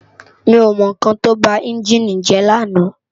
Mi ó mò n kán tó bá ènjini jè làná